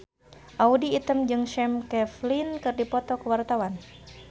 Audy Item jeung Sam Claflin keur dipoto ku wartawan